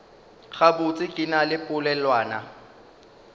gabotse ke na le polelwana